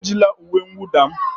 Ejila uwe mwụda m!